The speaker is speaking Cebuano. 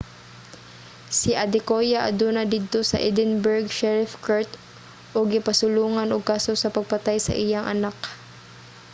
si adekoya aduna didto sa edinburgh sherrif court ug gipasulongan ug kaso sa pagpatay sa iyang anak